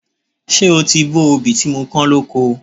Ṣé o ti bó obì tí mo kán lóko?